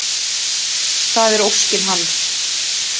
Það er óskin hans.